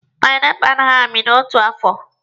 Panaipụlụ a naghị amị n'otu afọ